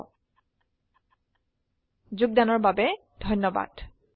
I I T Bombay ৰ পৰা মই মৌচুমী মেধী এতিয়া আপুনাৰ পৰা বিদায় লৈছো যোগদানৰ বাবে ধন্যবাদ